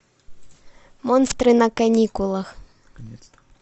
монстры на каникулах